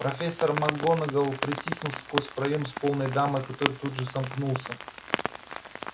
профессор макгонагалл протиснулась сквозь проем с полной дамой который тут же сомкнулся